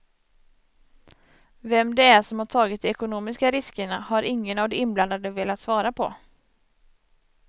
Vem det är som har tagit de ekonomiska riskerna har ingen av de inblandade velat svara på.